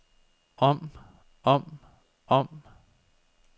om om om